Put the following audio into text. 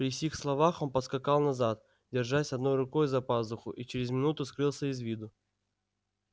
при сих словах он поскакал назад держась одной рукою за пазуху и через минуту скрылся из виду